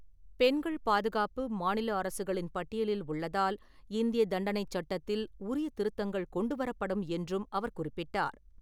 பெண்கள் பாதுகாப்பு, மாநில அரசுகளின் பட்டியலில் உள்ளதால் இந்தியத் தண்டனைச் சட்டத்தில் உரிய திருத்தங்கள் கொண்டு வரப்படும் என்றும் அவர் குறிப்பிட்டார்.